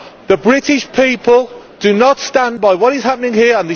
The British people do not stand by what is happening here.